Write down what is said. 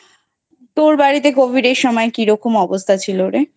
তোর বাড়িতে covid এর সময় কিরকম অবস্থা ছিল রে?